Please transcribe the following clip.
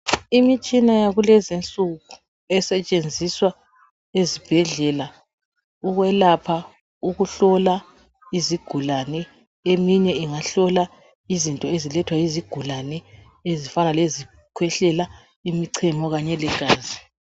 Imitshina yakulezi insuku esetshenziswa ezibhedlela ukwelapha, ukuhlola izigulane. Eminye ingahlola izinto ezilethwa yizigulane ezifana lezikhwehlela, imichemo legazi.